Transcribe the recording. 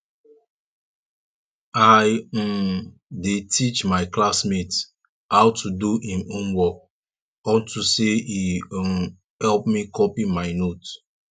i um dey teach my classmate how to do im homework unto say e um help me copy my note